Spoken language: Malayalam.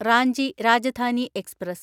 റാഞ്ചി രാജധാനി എക്സ്പ്രസ്